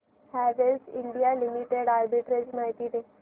Havells India limited arbitrage माहिती दे